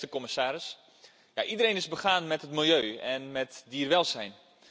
Beste commissaris, iedereen is begaan met het milieu en met dierenwelzijn.